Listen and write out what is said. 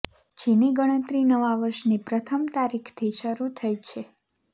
જેની ગણતરી નવા વર્ષની પ્રથમ તારીખથી શરૂ થઈ છે